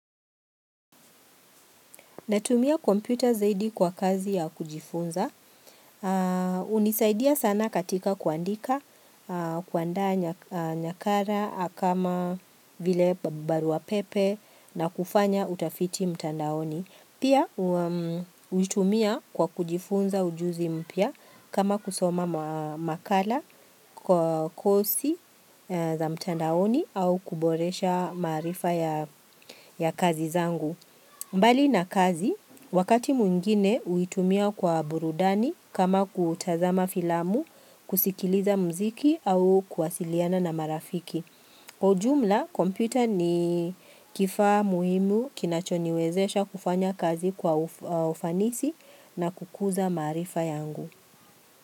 Natumia kompyuta zaidi kwa kazi ya kujifunza. Unisaidia sana katika kuandika, kuandaa nyakara, akama, vile barua pepe na kufanya utafiti mtandaoni. Pia, huitumia kwa kujifunza ujuzi mpya kama kusoma makala kwa kosi za mtandaoni au kuboresha maarifa ya kazi zangu. Mbali na kazi, wakati mwingine uitumia kwa burudani kama kutazama filamu, kusikiliza mziki au kuwasiliana na marafiki. Kwa ujumla, kompyuta ni kifaa muhimu kinachoniwezesha kufanya kazi kwa ufanisi na kukuza maarifa yangu.